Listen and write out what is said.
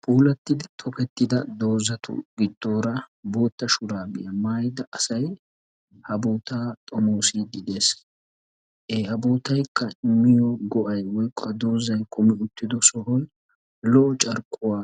Puulattiddi tokettida doozatu giddoora bootta shuraabiya maayida asay ha bootaa xomoosiiddi des. Ee ha bootayikka mino go"aa immiyakko ha doozay kumi uttido sohoy lo"o carkkuwa